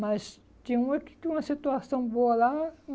Mas tinha uma que tinha uma situação boa lá.